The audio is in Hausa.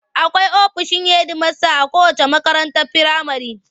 Akwai ofishin hedimasta a kowacce makarantar firamare.